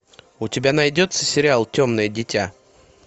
у тебя найдется сериал темное дитя